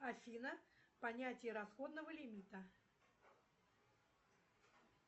афина понятие расходного лимита